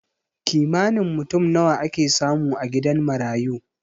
Kimanin mutum nawa ake samu a gidan marayu?